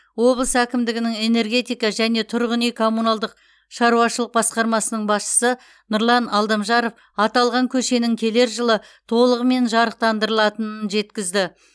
облыс әкімдігінің энергетика және тұрғын үй коммуналдық шаруашылық басқармасының басшысы нұрлан алдамжаров аталған көшенің келер жылы толығымен жарықтандырылатынын жеткізді